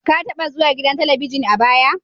Ka taba zuwa gidan Talabijin a baya?